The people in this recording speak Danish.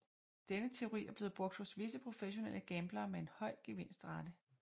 Denne teori er blevet brugt hos visse professionelle gamblere med en høj gevinstrate